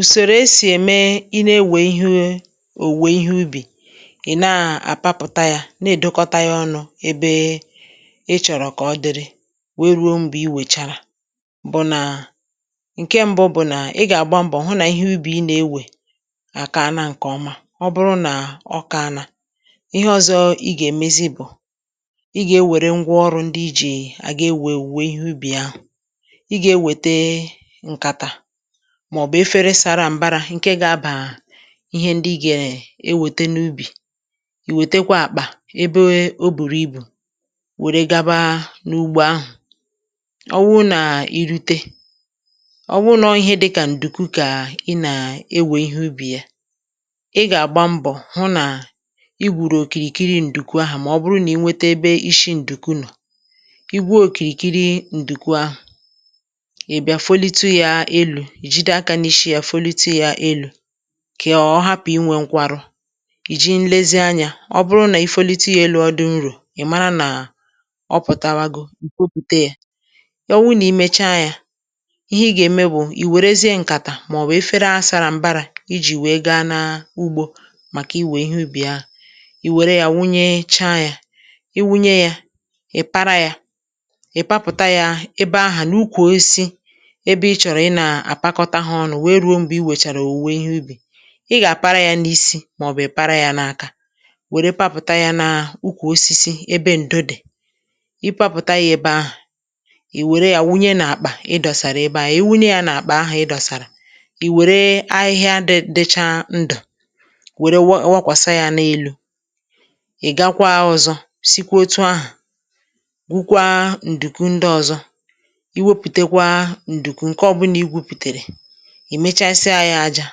ùsòrò e sì ème ịna ewè ihoe òwùwè ihe ubì ị̀ na àpapụ̀ta yā na-èdokọta yā ọnụ̄ ebe ị chọ̀rọ̀ kà ọ dịrị wèe rùo m̀gbè i mɛchàrà bụ̀ nà ṅ̀ke m̄bụ̄ bụ̀ nà ị gà àgba mbọ̀ hụ nà ihe ubì ị nà-ewè àkaana ṅ̀kè ọma ọbụrụ nà ọ kaana ihe ọzọ̄ ị gà-èmezi bụ̀ ị gà ewère ṅgwa ọrụ̄ ndi i ji àga ewè òwùwè ihe ubì ahụ̀ ị gà-ewète ṅkàtà mạ̀̀bụ̀ efere sārā m̀barā ṅ̀ke gā-abà ihe ndị ị ge ewète n’ubì ì wètekwe àkpà ebeo o bùrù ibù wère gaba n’ugbo ahụ̀ ọ wụụ nà i rute ọ wụụ nà ọọ̄ ihe dịkà ǹdùku kà ị nàewè ihe ubì ya ị gà-àgba mbọ̀ hụ nà i gwùrù òkìrìkiri ǹdùku ahà mà ọ bụrụ nà i nwete ebe isi ǹduku nọ̀ i gwuo òkìrìkiri ǹduku ahà ị̀ bịa folite yā elū ì jide akā n’ishi yā folite yā elū kị ọ hapụ̀ inwē ṅkwarụ ì ji nlezi anyā ọ bụrụ nà i folite yā elū ọ dị nrò ị̀ mara nà ọ pụ̀tawago ì kpopùte yē ya ọ wụụ nà i mechaa yā ihe ị gà-ème bụ̀ ì wèrezie ṅ̀kàtà màọ̀bụ̀ efere à sara m̀barā I jì wèe gaa na ugbō Màkà iwè ihe ubì ahụ ì wère ya wunyechaa yā i wunye yā ị̀ para yā ị̀ papụ̀ta yā ebe ahà n’ukwù osisi ebe ị chọ̀rọ̀ ịnā àpakọta hā ọnụ̄ wèe rùo m̀gbe i wèchàrà ihe ubì ị gà-àpara yā n’isi màọ̀bụ̀ ị pàrà yā n’aka wère papụ̀ta yā na ukwù osisi ebe ǹdo dì ị papụ̀ta yā ebe ahụ̀ ì wère yā wụnye n’àkpà ị dọ̀sàrà ebe ahà i wunye yā n’àkpà ahà ị dọ̀sàrà ì wère ahịhịa dị̄ dịcha ndụ̀ wère wụ wụkwàsa yā n’elū ị̀ gakwaa ọ̄zọ̄ sikwa otu ahụ̀ wụkwaa ǹdùkwu ndị ọ̄zọ̄ i wepùtekwa ǹdùku ṅ̀ke ọbụna i weputèrè ị̀ mechayịsịa yā ajā